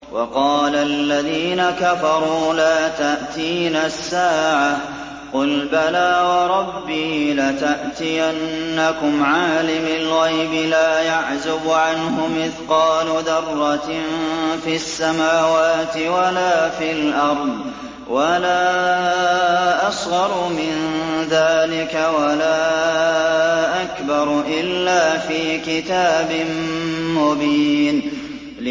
وَقَالَ الَّذِينَ كَفَرُوا لَا تَأْتِينَا السَّاعَةُ ۖ قُلْ بَلَىٰ وَرَبِّي لَتَأْتِيَنَّكُمْ عَالِمِ الْغَيْبِ ۖ لَا يَعْزُبُ عَنْهُ مِثْقَالُ ذَرَّةٍ فِي السَّمَاوَاتِ وَلَا فِي الْأَرْضِ وَلَا أَصْغَرُ مِن ذَٰلِكَ وَلَا أَكْبَرُ إِلَّا فِي كِتَابٍ مُّبِينٍ